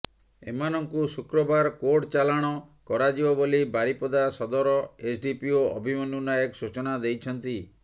ଏମାନଙ୍କୁ ଶୁକ୍ରବାର କୋର୍ଟ ଚାଲାଣ କରାଯିବ ବୋଲି ବାରିପଦା ସଦର ଏସ୍ଡିପିଓ ଅଭିମନ୍ୟୁ ନାୟକ ସୂଚନା ଦେଇଛନ୍ତି